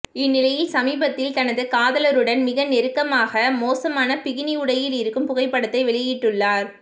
இந்நிலையில் சமீபத்தில் தனது காதலருடன் மிக நெருக்கமாக மோசமான பிகினி உடையில் இருக்கும் புகைப்படத்தை வெளியிட்டுள்ளார்